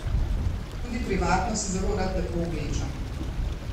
Tudi privatno se zelo rad lepo oblečem.